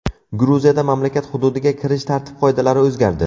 Gruziyada mamlakat hududiga kirish tartib-qoidalari o‘zgardi.